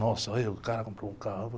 Nossa, olha o cara comprou um carro.